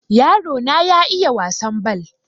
yarona ya iiya wasan bal